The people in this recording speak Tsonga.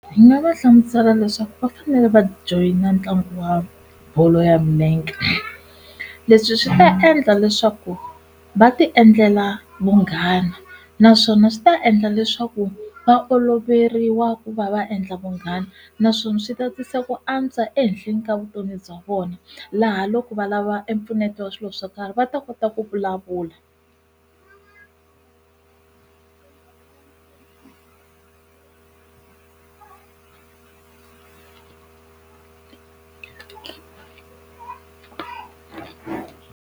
Ndzi nga va hlamusela leswaku va fanele va joyina ntlangu wa bolo ya milenge leswi swi ta endla leswaku va ti endlela vunghana naswona swi ta endla leswaku va oloveriwa ku va va endla vunghana naswona swi ta tisa ku antswa ehenhleni ka vutomi bya vona laha loko valava empfuneto wa swilo swo karhi va ta kota ku vulavula.